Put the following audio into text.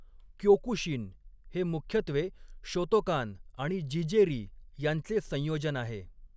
Kyokushin' हे मुख्यत्वे 'Shotokan' आणि 'जीजे री' यांचे संयोजन आहे.